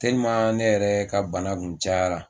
ne yɛrɛ ka bana kun cayara